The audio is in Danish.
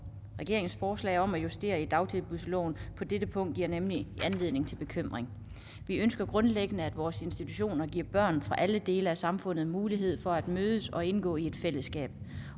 regeringens forslag om at justere i dagtilbudsloven på dette punkt giver nemlig anledning til bekymring vi ønsker grundlæggende at vores institutioner giver børn fra alle dele af samfundet mulighed for at mødes og indgå i et fællesskab